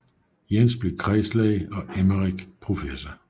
Jens blev kredslæge og Emmerik professor